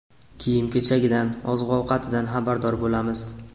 Kiyim-kechagidan, oziq-ovqatidan xabardor bo‘lamiz.